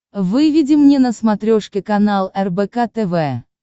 выведи мне на смотрешке канал рбк тв